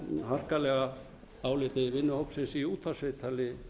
harkalega áliti vinnuhópsins í útvarpsviðtali